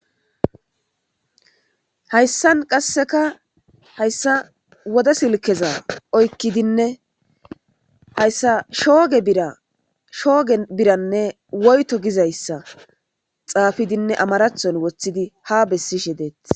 Haysan qaseka haysa wode silkezaoykidi oykidinne haysa shooge birra shoogen birrane woyto gizaysa xapidine amarathon wothidi ha besishe detes.